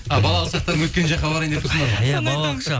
а балалық шақтарың өткен жаққа барайын деп тұрсыңдар ғой